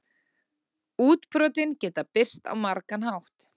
Útbrotin geta birst á margan hátt.